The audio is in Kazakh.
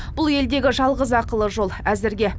бұл елдегі жалғыз ақылы жол әзірге